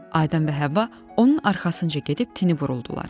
Adəm və Həvva onun arxasınca gedib tini buruldular.